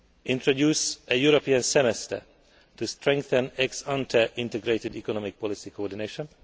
introducing a European semester' to strengthen ex ante integrated economic policy coordination